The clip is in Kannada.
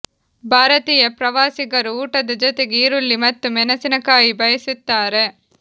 ಭಾರತೀಯ ಪ್ರವಾಸಿಗರು ಊಟದ ಜೊತೆಗೆ ಈರುಳ್ಳಿ ಮತ್ತು ಮೆಣಸಿನ ಕಾಯಿ ಬಯಸುತ್ತಾರೆ